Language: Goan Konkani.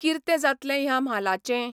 किर्ते जातलें ह्या म्हालाचें?